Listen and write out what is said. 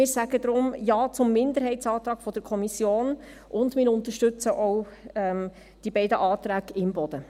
Wir sagen deshalb Ja zum Minderheitsantrag der Kommission, und wir unterstützen auch die beiden Anträge Imboden.